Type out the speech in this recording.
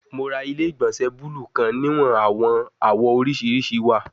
Mo ra ile-igbọnsẹ buluu kan niwon awọn awọ oriṣiriṣi wa